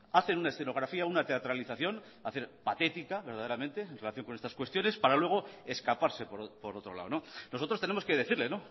hacen una escenografía una teatralización me parece patética verdaderamente en relación con estas cuestiones para luego escaparse por otro lado nosotros tenemos que decirle